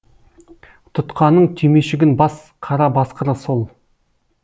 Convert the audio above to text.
тұтқаның түймешігін бас қара басқыр сол